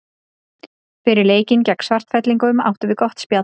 Fyrir leikinn gegn Svartfellingum áttum við gott spjall.